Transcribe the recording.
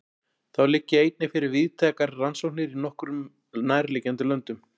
Þá liggja einnig fyrir víðtækar rannsóknir í nokkrum nærliggjandi löndum.